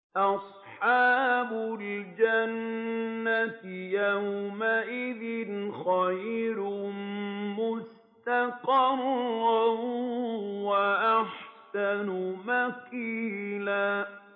أَصْحَابُ الْجَنَّةِ يَوْمَئِذٍ خَيْرٌ مُّسْتَقَرًّا وَأَحْسَنُ مَقِيلًا